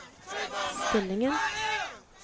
stillingen